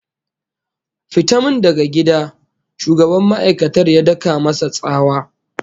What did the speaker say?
"Fita min daga gida!" Shugaban ma'aikatar ya dauka masa tsawa.